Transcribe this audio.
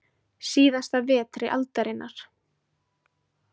Síðasta vetri aldarinnar.